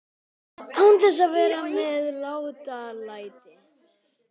Án þess að vera með látalæti.